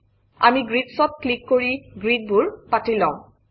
আমি grids অত click কৰি গ্ৰিড্বোৰ পাতি লম